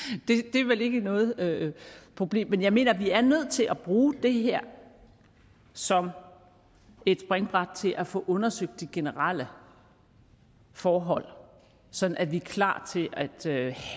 det er vel ikke noget problem men jeg mener at vi er nødt til at bruge det her som et springbræt til at få undersøgt de generelle forhold sådan at vi er klar til at